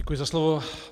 Děkuji za slovo.